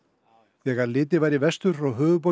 þegar litið var í vestur frá höfuðborginni